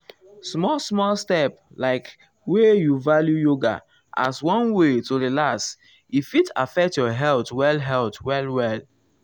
small small step like wey you value yoga as one way to relax e fit affect your health well health well well.